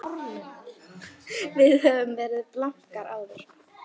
Við höfum nú verið blankar áður.